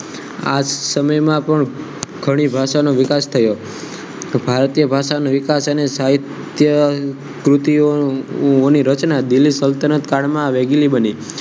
આ સમયમાં પણ ઘણી ભાષાનો વિકાસ થયો ભારતીય ભાષાને વિકાસ અને સાહિત્ય કૃતિઓ ઓની રચના દિલ્હી સલ્તનતકાળમાં વેગીલી બની